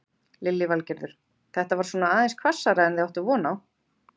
Lillý Valgerður: Þetta var svona aðeins hvassara en þið áttuð von á?